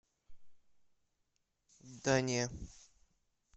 да не